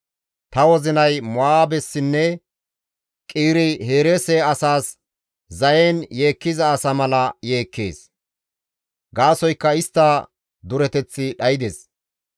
«Ta wozinay Mo7aabessinne Qiire-Hereese asaas zayen yeekkiza asa mala yeekkees; gaasoykka istta dureteththi dhaydes.